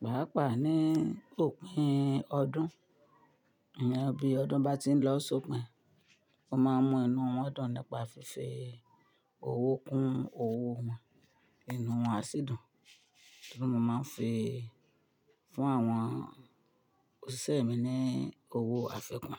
Pàápàá ní òpin ọdún, iyen bí ọdún bá ti ń lọ sópin, mo máa mú inú wọn dùn nípa fífi owó kún owó wọn. Inú wọn á sì dùn. Bí mó máa ń fi fún àwọn òṣìṣẹ́ mi ní owó àfikún.